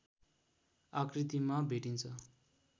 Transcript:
आकृतिमा भेटिन्छ